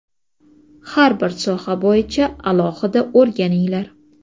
Har bir soha bo‘yicha alohida o‘rganinglar.